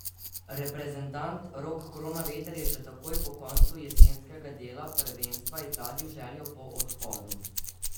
Reprezentant Rok Kronaveter je že takoj po koncu jesenskega dela prvenstva izrazil željo po odhodu.